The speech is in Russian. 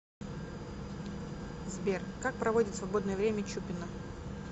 сбер как проводит свободное время чупина